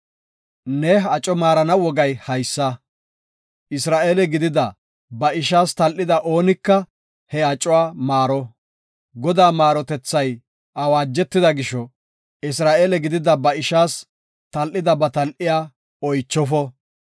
Ne aco maarana wogay haysa; Isra7eele gidida ba ishaas tal7ida oonika he acuwa maaro. Godaa maarotethay awaajetida gisho, Isra7eele gidida ba ishaas tal7ida ba tal7iya oychofo.